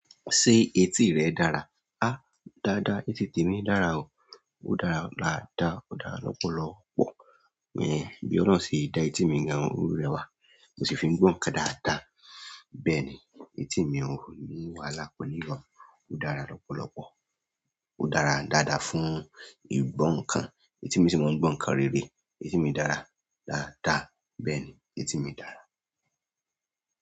Ṣé etí rẹ dára? Áá dáadáa, etí mi dára o. Ó dára lára dá, ó dára lọ́pọ̀lọ́pọ̀. Bẹ́ẹ̀ni, bí ọlọ́run ṣe dá etí mi gan-an, o rẹwà. Mo sì fi ń gbọ̀nkan dáadáa. Bẹ́ẹ̀ni, etí mi ò ní wà lápọ̀ ní ìwà. Ó dára lọ́pọ̀lọ́pọ̀. Ó dára dáadáa fún ìgbọ̀ nkan. Etí mi sì máa ń gbọ̀n kan rere. Etí mi dára dáadáa. Bẹ́ẹ̀ni, etí mi dára.